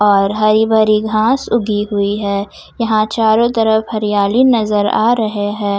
और हरी भरी घास उगी हुई है यहां चारों तरफ हरियाली नजर आ रहे है।